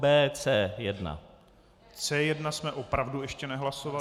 C1 jsme opravdu ještě nehlasovali.